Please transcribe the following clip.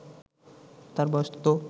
তার বয়স তো